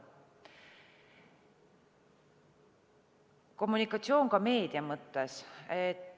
Kommunikatsioon ka meedia mõttes.